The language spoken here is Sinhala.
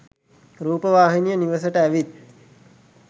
රූපවාහිනිය නිවසට ඇවිත්